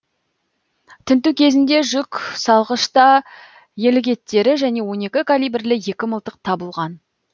тінту кезінде жүк салғышта елік еттері және он екі калибірлі екі мылтық табылған